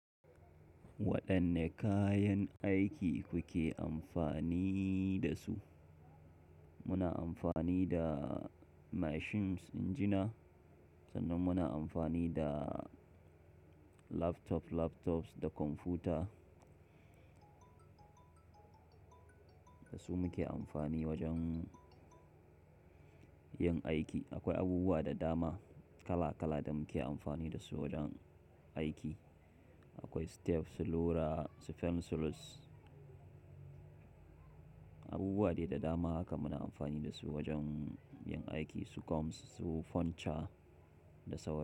Waɗanne kayan aiki kuke amfani da su? Muna amfani da machines, injina, sannan muna amfani da laptop, laptops da kwamfuta. Da su muke amfani wajen yin aiki. Akwai abubuwa da dama kala kala da muke amfani da su wajen aiki. Akwai stapler, selotape, selophanes. Abubuwa ne da dama haka muna amfani da su wajen yin aiki su kom su fancha da sauransu.